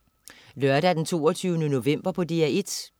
Lørdag den 22. november - DR1: